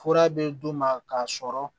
Fura bɛ d'u ma k'a sɔrɔ